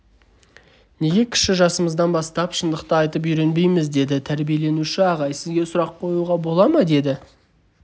неге кіші жасымыздан бастап шындықты айтып үйренбейміз деді тәжірибеленуші ағай сізге сұрақ қоюға бола ма деді